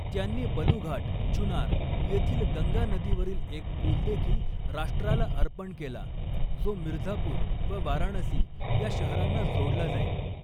त्यांनी बलूघाट, चुनार येथील गंगा नदीवरील एक पूल देखील राष्ट्राला अर्पण केला जो मिर्झापूर व वाराणसी या शहरांना जोडला जाईल.